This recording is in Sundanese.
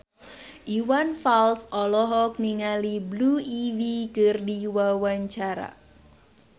Iwan Fals olohok ningali Blue Ivy keur diwawancara